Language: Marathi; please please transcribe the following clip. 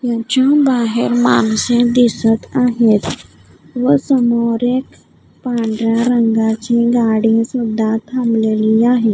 याच्या बाहेर माणसे दिसत आहेत व समोर एक पांढऱ्या रंगाची गाडी सुद्धा थांबलेली आहे.